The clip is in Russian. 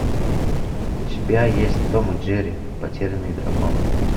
у тебя есть том и джерри потерянный дракон